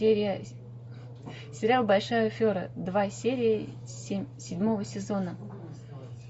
сериал большая афера два серия седьмого сезона